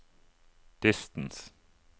distance